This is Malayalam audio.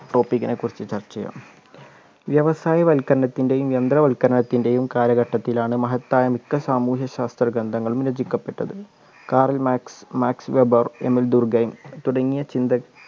topic നെക്കുറിച്ച് ചർച്ച ചെയ്യാം വ്യവസായവൽക്കരണത്തിൻ്റെയും യന്ത്രവൽക്കരണത്തിൻ്റെയും കാലഘട്ടത്തിലാണ് മഹത്തായ മിക്ക സാമൂഹ്യ ശാസ്ത്ര ഗ്രന്ഥങ്ങളും രചിക്കപ്പെട്ടത് Karl Marx Max Weber Emile Durkheim തുടങ്ങിയ ചിന്ത